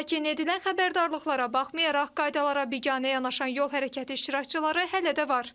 Lakin edilən xəbərdarlıqlara baxmayaraq, qaydalara biganə yanaşan yol hərəkəti iştirakçıları hələ də var.